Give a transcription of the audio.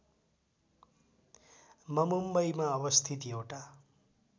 ममुम्बईमा अवस्थित एउटा